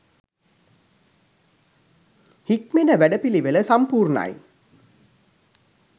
හික්මෙන වැඩපිළිවෙල සම්පූර්ණයි.